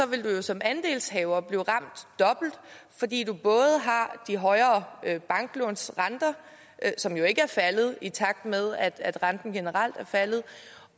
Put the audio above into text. vil du jo som andelshaver blive ramt dobbelt fordi du både har de højere banklånsrenter som jo ikke er faldet i takt med at renten generelt er faldet